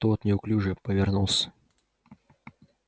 тот неуклюже повернулся